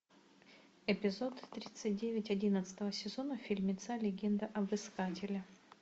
эпизод тридцать девять одиннадцатого сезона фильмеца легенда об искателе